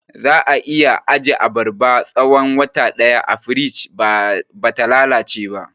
Za'a iya ajiye abarba tsahon wata ɗaya a firij bata lalace ba